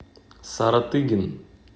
саратыгин